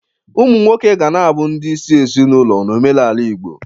Ụmụ nwoke ga na-abụ ndị isi ezinaụlọ n'omenala Igbo.